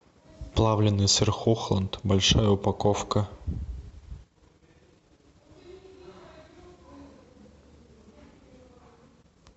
плавленный сыр хохланд большая упаковка